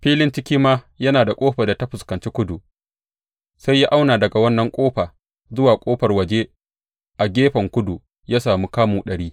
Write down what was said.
Filin cikin ma yana da ƙofar da ta fuskanci kudu, sai ya auna daga wannan ƙofa zuwa ƙofar waje a gefen kudu; ya sami kamu ɗari.